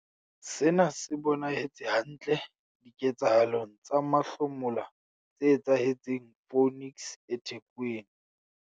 Sena se bonahetse hantle diketsahalong tsa mahlomola tse etsahetseng Phoenix eThekwini.